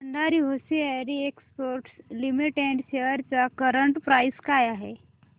Bhandari hosiery exports limited shares ची current price काय आहे